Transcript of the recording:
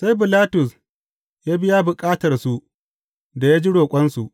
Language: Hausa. Sai Bilatus ya biya bukatarsu da ya ji roƙonsu.